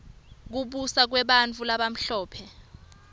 kubusa kwebantfu labamhlope